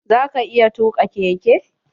Za ka iya tuka keke?